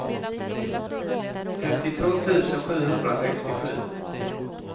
femtiotvå tusen sjuhundrasextiosju